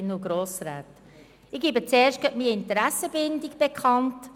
Ich gebe als Erstes meine Interessenbindung bekannt: